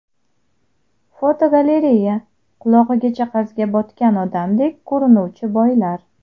Fotogalereya: Qulog‘igacha qarzga botgan odamdek ko‘rinuvchi boylar.